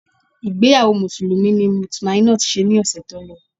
Ìgbéyàwó Mùsùlùmí ni Mutmainot ṣe ní ọ̀ṣẹ̀ tó lọ